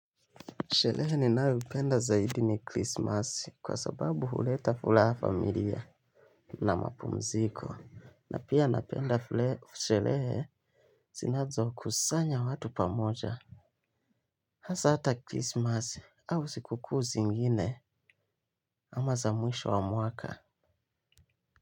Sherehe ninayopenda zaidi ni krismasi kwa sababu huleta furaha familia. Na mapumziko na pia napenda zile sherehe zinazo kusanya watu pamoja. Hasa hata krismasi au siku kuu zingine ama za mwisho wa mwaka.